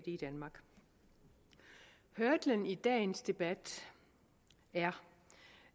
i danmark hurdlen i dagens debat er